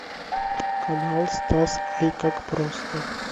канал стас ай как просто